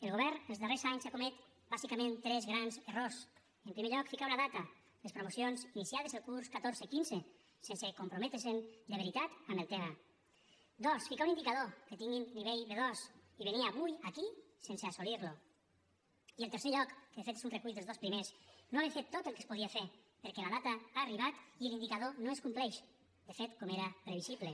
el govern els darrers anys ha comès bàsicament tres grans errors en primer lloc ficar una data les promocions iniciades el curs catorze quinze sense comprometre’s de veritat en el tema dos ficar un indicador que tinguin nivell b2 i venir avui aquí sense assolir lo i en tercer lloc que de fet és un recull dels dos primers no haver fet tot el que es podia fer perquè la data ha arribat i l’indicador no es compleix de fet com era previsible